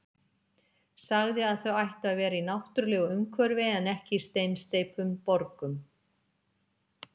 Sagði að þau ættu að vera í náttúrulegu umhverfi en ekki í steinsteyptum borgum.